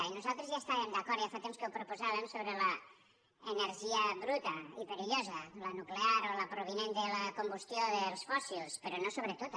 i nosaltres ja hi estàvem d’acord ja fa temps que ho proposàvem sobre l’energia bruta i perillosa la nuclear o la provinent de la combustió dels fòssils però no sobre tota